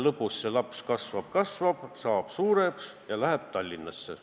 Lõpuks see laps kasvab suureks ja läheb Tallinnasse.